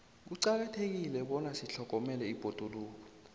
kuqakathekile bona sitlhogomele ibhoduluko